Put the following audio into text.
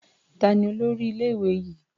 Ta ni olórí ilé-ìwé yìí?